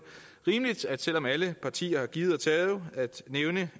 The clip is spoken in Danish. rimeligt selv om alle partier har givet og taget at nævne